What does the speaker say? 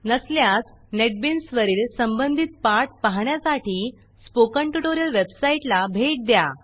नसल्यास नेटबीन्स वरील संबंधित पाठ पाहण्यासाठी स्पोकन ट्युटोरियल वेबसाईटला भेट द्या